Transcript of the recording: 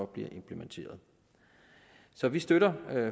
bliver implementeret så vi støtter